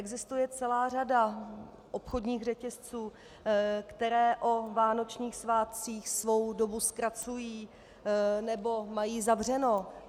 Existuje celá řada obchodních řetězců, které o vánočních svátcích svou dobu zkracují nebo mají zavřeno.